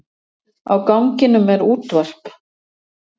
Á ganginum er útvarp.